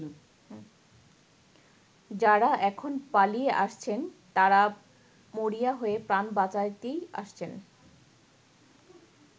যারা এখন পালিয়ে আসছেন তারা মরিয়া হয়ে প্রাণ বাঁচাতেই আসছেন।